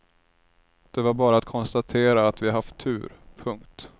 Det var bara att konstatera att vi haft tur. punkt